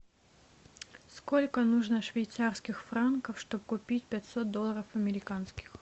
сколько нужно швейцарских франков чтобы купить пятьсот долларов американских